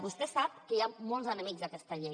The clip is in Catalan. vostè sap que hi ha molts enemics d’aquesta llei